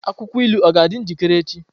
Akwụkwọ ilu ọ ga-adị njikere echi?